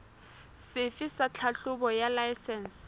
sefe sa tlhahlobo ya laesense